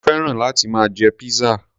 Mo féràn láti máa jẹ pizza.